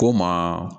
K'o ma